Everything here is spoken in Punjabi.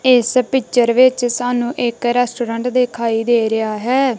ਇਸ ਪਿਚਰ ਵਿੱਚ ਸਾਨੂੰ ਇੱਕ ਰੈਸਟੋਰੈਂਟ ਦਿਖਾਈ ਦੇ ਰਿਹਾ ਹੈ।